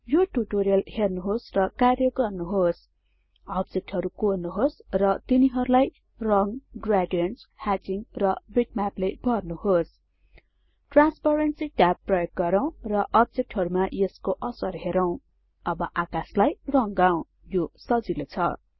यो टुटोरियल हेर्नुहोस् र कार्य गर्नुहोस् अब्जेक्टहरु कोर्नुहोस् र तिनीहरुलाई रंग ग्रेडिएन्ट्स ह्याचिङ र बिटम्यापले भर्नुहोस् ट्रान्सपरेन्सी ट्याब प्रयोग गरौँ र अब्जेक्टहरुमा यसको असर हेरौं अब आकाशलाई रंगाउँ यो सजिलो छ